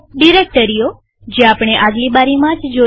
ડિરેક્ટરીઓજે આપણે આગલી બારીસ્લાઈડમાં જોઈ